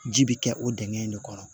Ji bi kɛ o dingɛ in de kɔnɔ